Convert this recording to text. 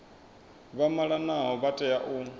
vha malanaho vha tea u